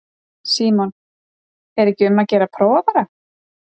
Símon: Er ekki um að gera að prófa bara?